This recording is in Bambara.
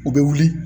U bɛ wuli